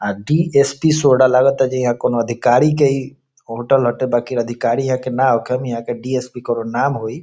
आ डि.स.पी. सोडा लागत ता जे कऊनो अधिकारी के ई होटल हटे बाकी अधिकारी इहा ना होखे ईहा डी.एस.पी. कऊनौ नाम होई।